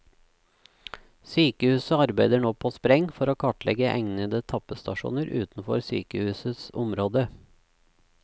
Sykehuset arbeider nå på spreng for å kartlegge egnede tappestasjoner utenfor sykehusets område.